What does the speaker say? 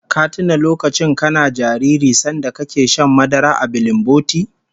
Ka tuna lokacin kana jariri sanda kake shan madara a bilinboti?